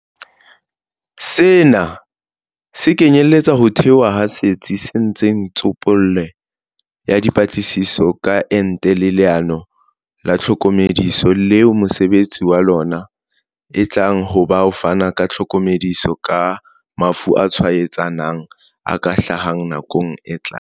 Sena se kenyeletsa ho thehwa ha Setsi sa Ntshe tsopele ya Dipatlisiso ka Ente le Leano la Tlhokomediso leo mosebetsi wa lona e tlang ho ba ho fana ka tlhokomediso ka mafu a tshwaetsanang a ka hlahang nakong e tlang.